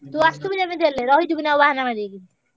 ତୁ ଆସିଥିବୁ ଯେମିତି ହେଲେ ଆଉ ରହିଯିବୁନି ବହନ ମାରିକି।